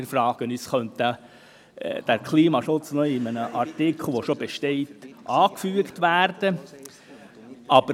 Wir fragen uns, ob der Klimaschutz noch an einen bestehenden Artikel angefügt werden soll.